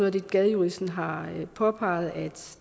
af det gadejuristen har påpeget at